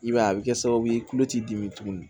I b'a ye a bɛ kɛ sababu ye tulo t'i dimi tuguni